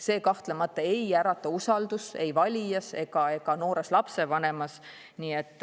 See kahtlemata ei ärata usaldust ei valijas ega noores lapsevanemas.